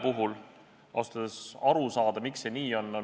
Ausalt öeldes on mul raske aru saada, miks see nii on.